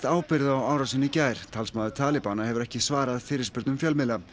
árásinni í gær talsmaður talibana hefur ekki svarað fyrirspurnum fjölmiðla